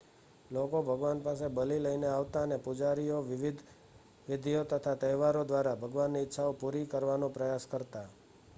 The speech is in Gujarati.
લોકો ભગવાન પાસે બલિ લઈને આવતા અને પુજારીઓ વિધિઓ તથા તહેવારો દ્વારા ભગવાનની ઈચ્છાઓ પુરી કરવાનો પ્રયાસ કરતા